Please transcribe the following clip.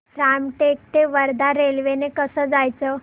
रामटेक ते वर्धा रेल्वे ने कसं जायचं